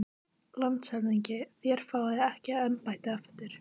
LANDSHÖFÐINGI: Þér fáið ekki embættið aftur